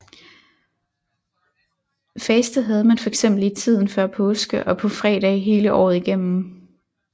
Faste havde man for eksempel i tiden før påske og på fredage hele året igennem